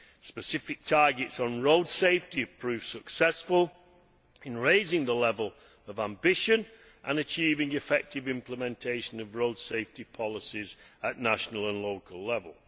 Specific targets on road safety have proved successful in raising the level of ambition and achieving effective implementation of road safety policies at national and local level.